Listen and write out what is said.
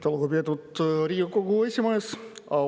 Aitäh, lugupeetud Riigikogu esimees!